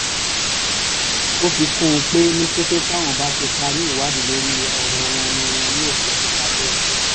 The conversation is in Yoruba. ó fi kún un pé ní kété táwọn bá ti parí ìwádìí lórí ọ̀rọ̀ wọn ni wọn yóò fojú balẹ̀-ẹjọ́